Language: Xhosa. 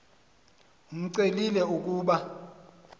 imcelile l ukuba